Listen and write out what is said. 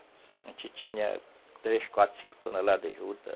A gente tinha três, quatro, cinco toneladas de juta.